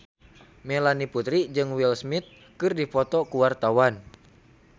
Melanie Putri jeung Will Smith keur dipoto ku wartawan